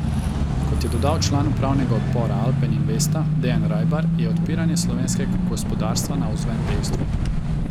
Kot je dodal član upravnega odbora Alpen Investa Dejan Rajbar, je odpiranje slovenskega gospodarstva navzven dejstvo.